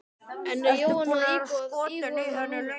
En er Jóhanna að íhuga það núna?